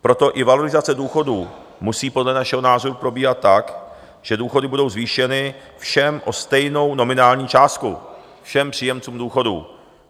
Proto i valorizace důchodů musí podle našeho názoru probíhat tak, že důchody budou zvýšeny všem o stejnou nominální částku, všem příjemcům důchodů.